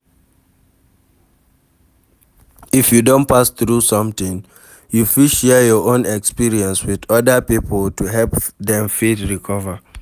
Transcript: If you don pass throug something you fit share you own experience with oda pipo to help dem fit recover